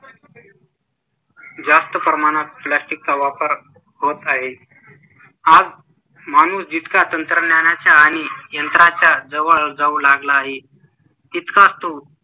जास्त प्रमाणात plastic चा वापर होत आहे आज माणूस जितका तंत्रज्ञानाच्या आणि यंत्रणाच्या जवळ जाऊ लागला आहे तितका तो